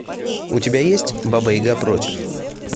у тебя есть баба яга против